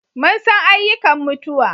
Mun san ayyukan mutuwa